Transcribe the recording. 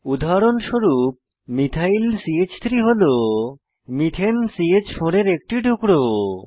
উদাহরণস্বরূপ মিথাইল চ3 হল মিথেন চ4 এর একটি টুকরো